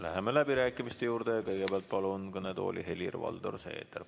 Läheme läbirääkimiste juurde ja kõigepealt palun kõnetooli Helir-Valdor Seederi.